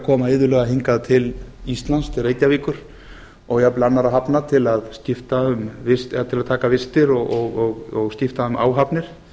koma iðulega hingað til íslands til reykjavíkur og jafnvel annarra hafna til að taka vistir og skipta um áhafnir